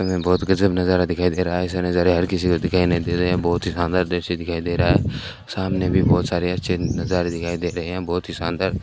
बहोत गजब नजारा दिखाई दे रहा है ऐसा नजारा हर किसी को दिखाई नहीं देता यहां बहोत ही शानदार दृश्य दिखाई दे रहा है सामने भी बहोत सारे अच्छे नजारे दिखाई दे रहे हैं बहोत ही शानदार --